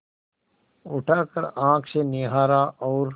उठाकर आँख से निहारा और